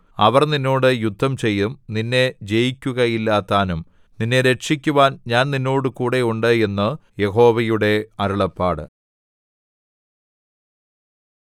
അവർ നിന്നോട് യുദ്ധം ചെയ്യും നിന്നെ ജയിക്കുകയില്ലതാനും നിന്നെ രക്ഷിക്കുവാൻ ഞാൻ നിന്നോടുകൂടെ ഉണ്ട് എന്ന് യഹോവയുടെ അരുളപ്പാട്